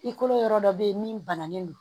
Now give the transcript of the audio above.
I kolo yɔrɔ dɔ bɛ yen min bananen don